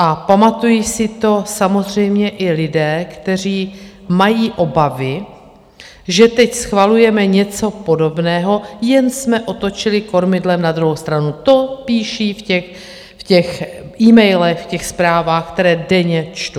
A pamatují si to samozřejmě i lidé, kteří mají obavy, že teď schvalujeme něco podobného, jen jsme otočili kormidlem na druhou stranu, to píší v těch emailech, v těch zprávách, které denně čtu.